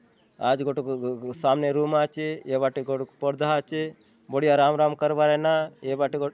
आज गोटोक गो-गो सामने रूम आचे एवा टेको क परदा आचे बढ़िया राम राम करवाए ना एबाटे गो --